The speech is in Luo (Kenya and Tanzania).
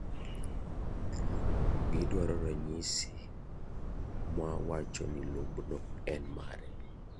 Gidwaro ranyisi mawacho ni lob no en mare.